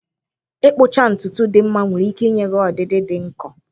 Ịkpụcha ntutu dị mma nwere ike inye gị ọdịdị dị nkọ.